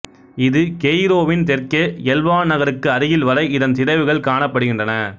இது கெய்ரோவின் தெற்கே எல்வான் நகருக்கு அருகில் வரை இதன் சிதைவுகள் காணப்படுகின்றன